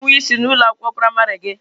Ị bụ nwa isi na ụlọ akwụkwọ praịmarị gị?